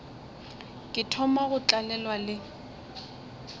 ke thoma go tlalelwa le